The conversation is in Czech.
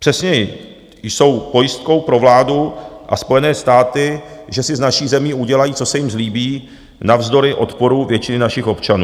Přesněji, jsou pojistkou pro vládu a Spojené státy, že si s naší zemí udělají, co se jim zlíbí, navzdory odporu většiny našich občanů.